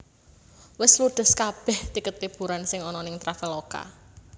Wes ludes kabeh tiket liburan sing ono ning Traveloka